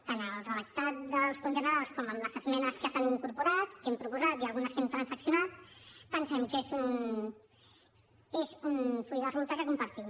tant el redactat dels punts generals com les esmenes que s’han incorporat que hem proposat i algunes que hem transaccionat pensem que és un full de ruta que compartim